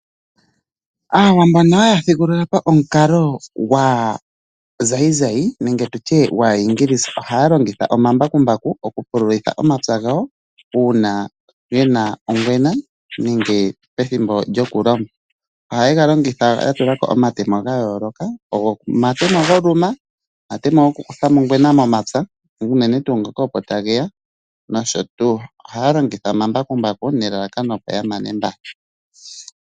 Aantu mbono haya thigulula po omukalo gwaazayizayi nenge tutye gwaayingilisa, ohaya longitha omambakumbaku okupululitha omapya gawo uuna ge na ongwena nenge pethimbo lyokulonga. Ohaye ga longitha ya tula ko omatemo ga yooloka, omatemo goluma, omatemo gokukutha mo ongwema momapya unene tuu ngoka opo ta geya nosho tuu. Ohaya longitha omambakumbaku nelalakano opo ya mane mbala.